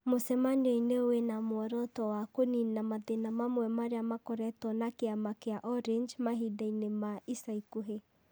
mũcemanio-inĩ wĩ na muoroto wa kũniina mathĩĩna mamwe marĩa makoretwo na kĩama kĩa Orange mahindainĩ ma ica ikuhĩ.